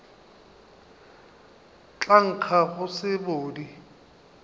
tla nkga go se sebodi